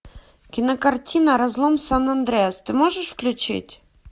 кинокартина разлом сан андреас ты можешь включить